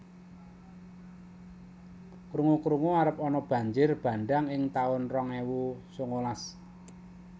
Krungu krungu arep ana banjir bandhang ing taun rong ewu sangalas